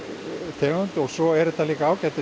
þörungur en svo er hún líka ágætis